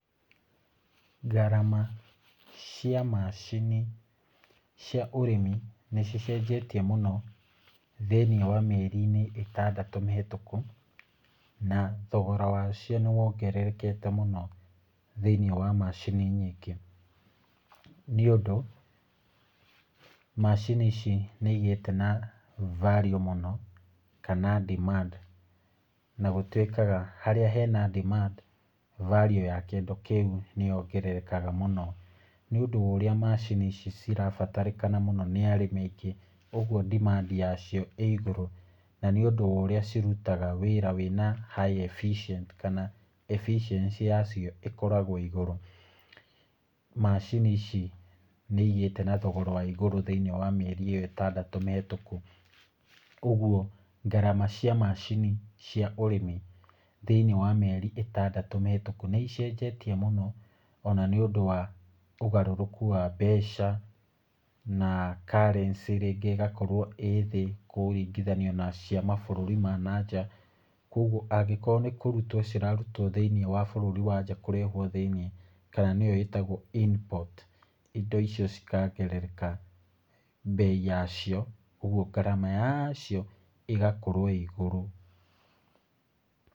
Ngarama cia macini cia ũrĩmi, nĩ cicenjetie mũno thĩiniĩ wa mĩeri ĩtandatũ mĩhũtũku, na thogora wacio nĩ wongererekete mũno thĩiniĩ wa macini nyingĩ, nĩ ũndũ macini ici nĩ igĩte na value mũno kana demand, na gũtwĩkaga harĩa hena demand, value ya kĩndũ kĩu nĩ yongererekaga mũno , nĩ ũndũ wa ũrĩa macini ici cirabatarĩkana mũno nĩ arĩmi aingĩ, ũgwo demand yacio ĩ igũrũ , na nĩ ũndũ wa ũrĩa cirutaga wĩra wĩna high efficient kana efficiency yacio ĩkoragwo igũrũ , macini ici nĩ igĩte na thogora wa igũrũ thĩiniĩ wa mĩeri ĩyo ĩtandatũ mĩhũtũku , ũgwo ngarama cia macini , cia ũrĩmi thĩiniĩ wa mĩeri ĩtandatũ mĩhũtũku nĩ ĩcenjetie mũno, ona nĩ ũndũ wa ũgarũrũku wa mbeca, na currency rĩngĩ ĩgakorwo ĩ thĩ kũringithanio na cia mabũrũri wa na nja , kũgwo angĩkorwo nĩ kũrutwo cirarutwo thĩiniĩ wa bũrũri wa nja kũrehwo thĩiniĩ, kana nĩyo ĩtagwo Import, indo icio cikongerereka mbei yacio, ũgwo ngarama yacio ĩgakorwo ĩ igũrũ.